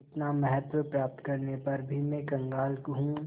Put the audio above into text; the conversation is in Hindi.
इतना महत्व प्राप्त करने पर भी मैं कंगाल हूँ